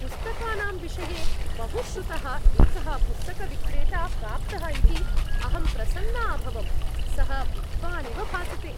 पुस्तकानां विषये बहुश्रुतः एकः पुस्तकविक्रेता प्राप्तः इति अहं प्रसन्ना अभवम्। सः विद्वानिव भासते।